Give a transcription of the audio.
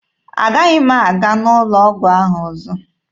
Agaghị m aga n'ụlọ ọgwụ ahụ ọzọ